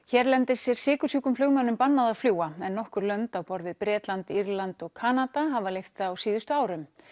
hérlendis er sykursjúkum flugmönnum bannað að fljúga en nokkur lönd á borð við Bretland Írland og Kanada hafa leyft það á síðustu árum